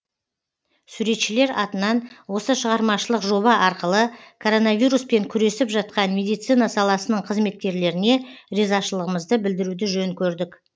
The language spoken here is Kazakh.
суретшілер атынан осы шығармашылық жоба арқылы коронавируспен күресіп жатқан медицина саласының қызметкерлеріне ризашылығымызды білдіруді жөн көрдік